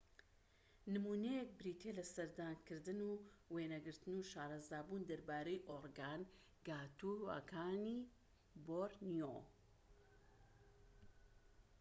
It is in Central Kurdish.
نمونەیەك بریتیە لە سەردانکردن و وێنەگرتن و شارەزابوون دەربارەی ئۆرگانگاتوانەکانی بۆرنیۆ